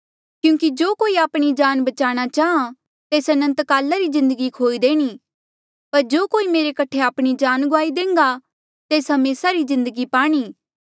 क्यूंकि जो कोई आपणी जान बचाणा चाहां तेस अनंतकाला री जिन्दगी खोई देणी पर जो कोई मेरे कठे आपणी जान गुआई देह्न्गा तेस हमेसा री जिन्दगी पाणी